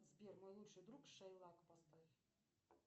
сбер мой лучший друг шейлак поставь